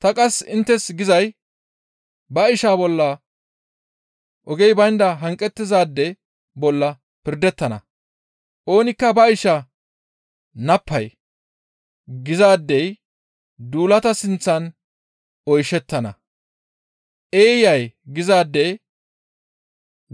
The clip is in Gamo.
Ta qasse inttes gizay ba isha bolla ogey baynda hanqettizaade bolla pirdettana; oonikka ba isha, ‹Nappay› gizaadey duulata sinththan oyshettana. ‹Eeyay› gizaade